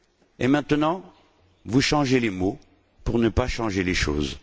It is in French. Et maintenant, vous changez les mots, pour ne pas changer les choses.